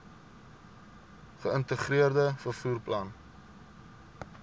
geïntegreerde vervoer plan